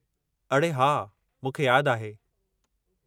अड़े, हा मूंखे यादि आहे।